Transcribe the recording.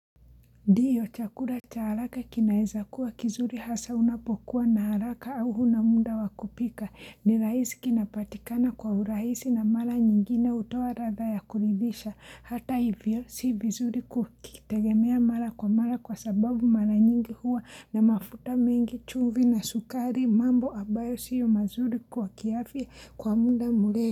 Ndio, chakula cha haraka kinaeza kuwa kizuri hasa unapokuwa na haraka au huna muda wa kupika. Ni rahisi kinapatikana kwa urahisi na mara nyingine hutoa ladha ya kuridhisha. Hata hivyo, si vizuri kukitegemea mara kwa mara kwa sababu mara nyingi huwa na mafuta mengi chumvi na sukari mambo ambayo siyo mazuri kwa kiafya kwa muda murefu.